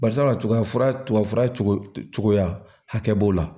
Barisabula tigafura tugu cogoya hakɛ b'o la